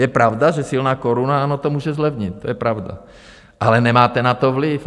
Je pravda, že silná koruna to může zlevnit, to je pravda, ale nemáte na to vliv.